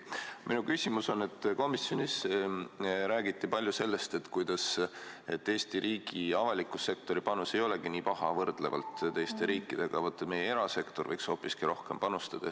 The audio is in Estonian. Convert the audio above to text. Minu küsimus on aga selle kohta, et komisjonis räägiti palju sellest, kuidas Eesti riigi avaliku sektori panus ei olegi nii paha võrreldes teiste riikidega, aga vaat, meie erasektor võiks hoopiski rohkem panustada.